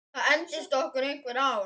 Það entist okkur einhver ár.